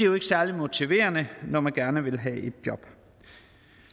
jo ikke særlig motiverende når man gerne vil have et job